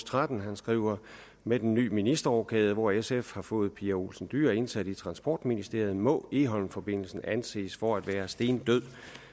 tretten hvor han skriver med den nye ministerrokade hvor sf har fået pia olsen dyhr indsat i transportministeriet må egholmforbindelsen anses for at være stendød